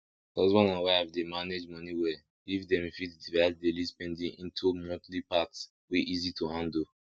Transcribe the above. husband and wife dey manage money well if dem fit divide daily spending into monthly part wey easy to handle